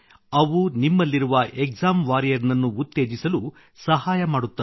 ಅವು ನಿಮ್ಮಲ್ಲಿರುವ exam warrior ನನ್ನು ಉತ್ತೇಜಿಸಲು ಸಹಾಯ ಮಾಡುತ್ತದೆ